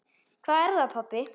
Hvað er það, pabbi?